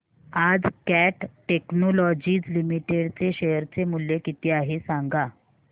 आज Kat technologies limited चे share चे मूल्य किती आहे सांगा